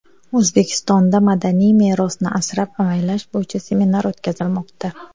O‘zbekistonda madaniy merosni asrab-avaylash bo‘yicha seminar o‘tkazilmoqda.